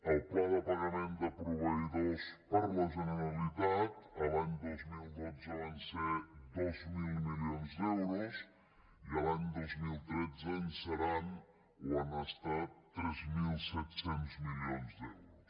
el pla de pagament de proveïdors per la generalitat l’any dos mil dotze van ser dos mil milions d’euros i l’any dos mil tretze en seran o han estat tres mil set cents milions d’euros